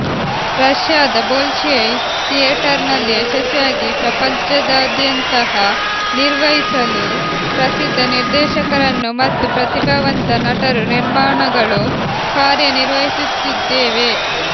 ರಷ್ಯಾದ ಬೊಲ್ಶೊಯ್ ಥಿಯೇಟರ್ನಲ್ಲಿ ಯಶಸ್ವಿಯಾಗಿ ಪ್ರಪಂಚದಾದ್ಯಂತ ಹ ನಿರ್ವಹಿಸಲು ಪ್ರಸಿದ್ಧ ನಿರ್ದೇಶಕರನ್ನು ಮತ್ತು ಪ್ರತಿಭಾವಂತ ನಟರು ನಿರ್ಮಾಣಗಳು ಕಾರ್ಯನಿರ್ವಹಿಸುತ್ತಿದ್ದೇವೆ